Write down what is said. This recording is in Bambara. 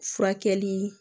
Furakɛli